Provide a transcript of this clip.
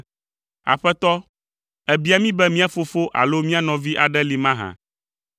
“Aƒetɔ, èbia mí be mía fofo alo mía nɔvi aɖe li mahã,